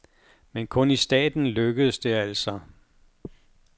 Men kun i staten lykkedes det altså.